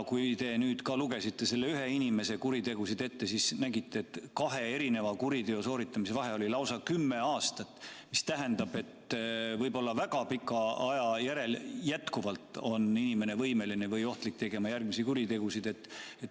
Kui te lugesite selle ühe inimese kuritegusid ette, siis nägite, et kahe erineva kuriteo sooritamise vahe oli lausa kümme aastat, mis tähendab, et ka väga pika aja järel võib inimene jätkuvalt olla ohtlik või võimeline tegema järgmisi kuritegusid.